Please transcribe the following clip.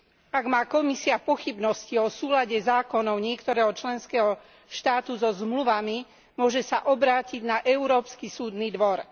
Ak má Komisia pochybnosti o súlade zákonov niektorého členského štátu so zmluvami, môže sa obrátiť na Európsky súdny dvor.